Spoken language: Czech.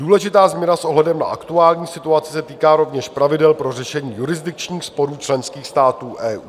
Důležitá změna s ohledem na aktuální situaci se týká rovněž pravidel pro řešení jurisdikčních sporů členských států EU.